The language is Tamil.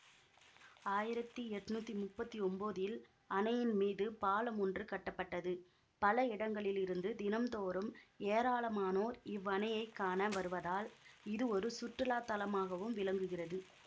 ஆயிரத்தி எட்ணூத்தி முப்பத்தி ஒம்போதில் அணையின் மீது பாலம் ஒன்று கட்டப்பட்டது பல இடங்களிலிருந்து தினந்தோறும் ஏராளமானோர் இவ்வணையைக் காண வருவதால் இது ஒரு சுற்றுலா தலமாகவும் விளங்குகிறது